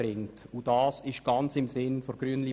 Dies ist ganz im Sinne der glp.